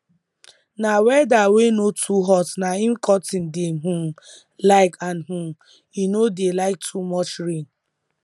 na weather wey no too hot na im cotton dey um like and um e no dey like too much rain